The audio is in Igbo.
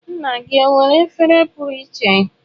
Nna gị ọ nwere efere pụrụ iche?